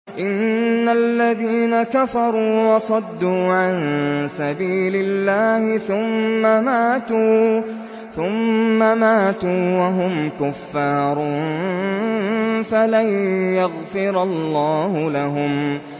إِنَّ الَّذِينَ كَفَرُوا وَصَدُّوا عَن سَبِيلِ اللَّهِ ثُمَّ مَاتُوا وَهُمْ كُفَّارٌ فَلَن يَغْفِرَ اللَّهُ لَهُمْ